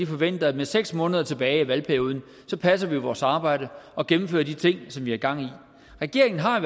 forventer at med seks måneder tilbage af valgperioden passer vi vores arbejde og gennemfører de ting som vi har gang i regeringen har